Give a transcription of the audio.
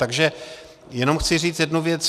Takže jenom chci říct jednu věc.